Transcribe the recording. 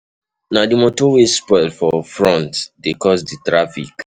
Na di motor wey spoil for front dey cause di traffic.